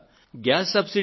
ప్రియమైన నా దేశ ప్రజలారా